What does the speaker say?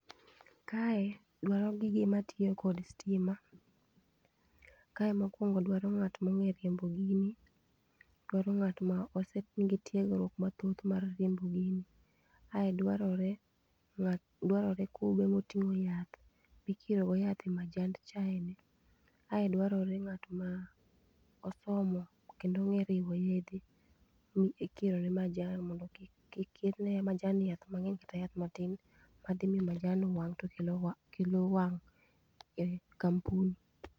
Kae dwaro gi gima tiyo kod stima. Kae mokuongo dwaro ng'at mongeyo riembo gini, koro ng'at mose, nigi tiegruok mathoth mar riembo gini ae dwarore kube motingo yath michiero go yath e majand chai ni ae dwarore ng'at mosomo kendo onegyo riwo yedhe mikiro ne majan mondo kik kir ne majan ni yath mangeny kata yath matin madhi miyo majan wang to kelo wang e kampuni